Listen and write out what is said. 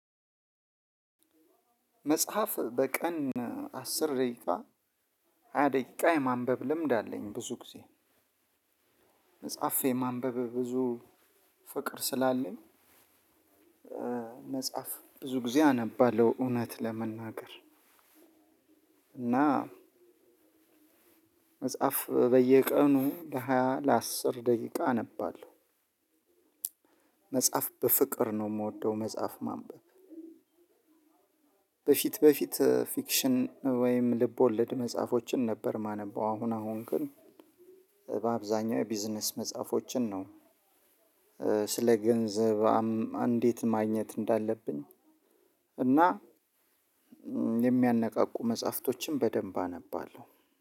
መጽሐፍ በቀን አስር ደቂቃ ሃያ ደቂቃ የማንበብ ልምድ አለኝ ብዙ ጊዜ። መጽሐፍ ማንበብ ብዙ ፍቅር ስላለኝ መጽሐፍ ብዙ ጊዜ አነባለሁ። እውነት ለመናገር እና መጽሐፍ በየቀኑ ለሃያ ለአስር ደቂቃ አነባለሁ። መጽሐፍ በፍቅር ነው ምወደው መጽሐፍ ማንበብ። በፊት በፊት ፊክሽን ወይም ልብ ወለድ መጽሐፎችን ነበር ማነበው። አሁን አሁን ግን በአብዛኛው የቢዝነስ መጽሐፎችን ነው ስለ ገንዘብ እንዴት ማግኘት እንዳለብን እና የሚያነቃቁ መጽሐፍቶችን በደንብ አነባለሁ።